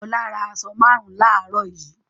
Ọlá ra aṣọ márùn-ún láàárọ̀ yìí.